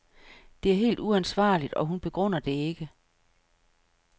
Det er helt uansvarligt, og hun begrunder det ikke.